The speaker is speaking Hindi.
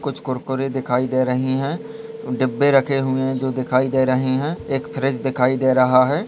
कुछ कुरकुरे दिखाई दे रहे है डिब्बे रखे हुए है जो दिखाई दे रही है एक ब्रिज दिखाई दे रहा है।